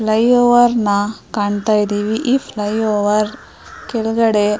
flyover ನ ಕಾಂತಾಯಿದ್ದೀವಿ ಈ ಫ್ಲೈಓವರ್ ಕೆಳಗಡೆ --